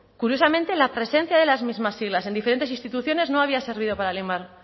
curiosamente la presencia de las mismas siglas en diferentes instituciones no habría servido para limar